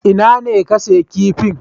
Ina ne ka siya kifin?